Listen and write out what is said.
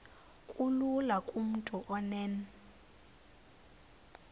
kulula kumntu onen